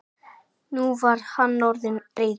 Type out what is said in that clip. Nú var hann orðinn reiður.